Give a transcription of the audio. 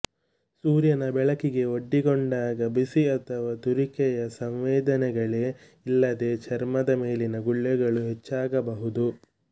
ಸೂರ್ಯನ ಬೆಳಕಿಗೆ ಒಡ್ಡಿಕೊಂಡಾಗ ಬಿಸಿ ಅಥವಾ ತುರಿಕೆಯ ಸಂವೇದನೆಗಳೇ ಇಲ್ಲದೆ ಚರ್ಮದ ಮೇಲಿನ ಗುಳ್ಳೆಗಳು ಹೆಚ್ಚಾಗಬಹುದು